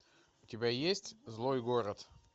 у тебя есть злой город